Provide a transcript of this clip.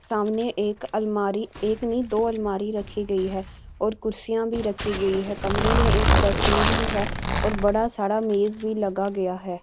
सामने एक अलमारी एक नहीं दो अलमारी रखी गई है और कुर्सियां भी रखी गई है कमरे में एक डस्टबिन भी है और बड़ा सारा मेज़ भी लगा गया है।